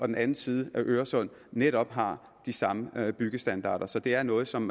den anden side af øresund netop har de samme byggestandarder så det er noget som